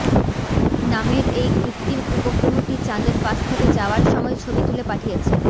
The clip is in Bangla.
নামের এই কৃত্রিম উপগ্রহটি চাঁদের পাশ থেকে যাওয়ার সময় ছবি তুলে পাঠিয়েছে